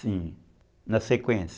Sim, na sequência.